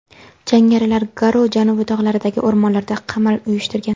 Jangarilar Garo janubiy tog‘laridagi o‘rmonlarda qamal uyushtirgan.